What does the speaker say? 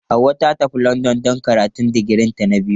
Hauwa ta tafi London don karatun digirinta na biyu.